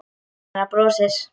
Mamma hennar brosir.